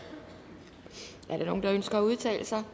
er der nogen der ønsker at udtale sig